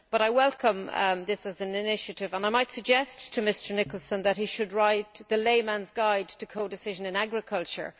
I welcome this as an initiative and might I suggest to Mr Nicholson that he should write the layman's guide to codecision in agriculture.